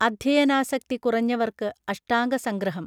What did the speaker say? അദ്ധ്യയനാസക്തി കുറഞ്ഞവർക്ക് അഷ്ടാംഗ സംഗ്രഹം